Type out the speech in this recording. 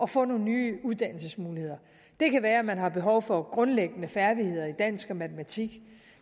få nogle nye uddannelsesmuligheder det kan være at man har behov for grundlæggende færdigheder i dansk og matematik